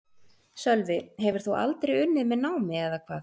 Sölvi: Hefur þú aldrei unnið með námi eða hvað?